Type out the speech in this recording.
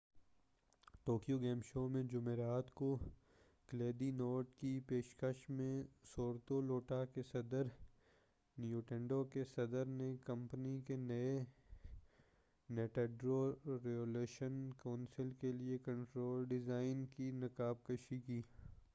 Tokyo game show میں جمعرات کو کلیدی نوٹ کی پیشکش میں ستورو لواٹا کے صدر ننٹینڈو کے صدر نے کمپنی کے نئے ننٹینڈو ریولیوشن کنسول کیلئے کنٹرول ڈیزائن کی نقاب کشائی کی